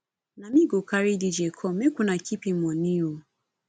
na me go carry dj come make una keep im moni o